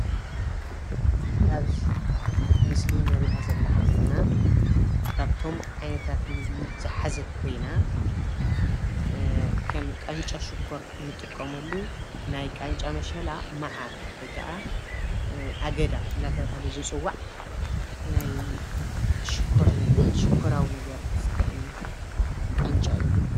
ኣብዚ ምስሊ እንሪኣ ዘለና ሓፍትና ካብቶም ዓይነታት ምግቢ ዝሓዘት ኮይና ከም ቃንጫ ሽኮር እንጥቀመሉ ናይ ቃንጫ መሸላ መዓር ወይ ክዓ ኣገዳ እናተብሃለ ዝፅዋዕ ናይ ሽኮር ነገር ሽኮራዊ ነገር ዝጥዕም ቃንጫ እዩ።